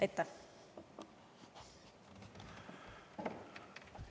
Aitäh!